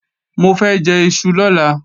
Mo fẹ́ jẹ́ iṣu lọ́la